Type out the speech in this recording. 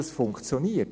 das funktioniert.